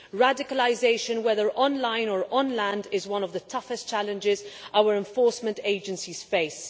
Radicalisation, whether online or on land, is one of the toughest challenges our enforcement agencies face.